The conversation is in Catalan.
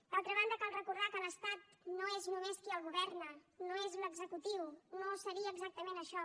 d’altra banda cal recordar que l’estat no és només qui el governa no és l’executiu no seria exactament això